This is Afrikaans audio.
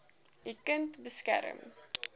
u kind beskerm